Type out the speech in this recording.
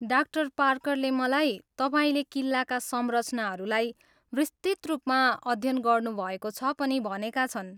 डा. पार्करले मलाई तपाईँले किल्लाका संरचनाहरूलाई विस्तृत रूपमा अध्ययन गर्नुभएको छ पनि भनेका छन्।